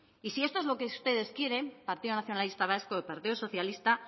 y si esto es lo que ustedes quieren partido nacionalista vasco y partido socialista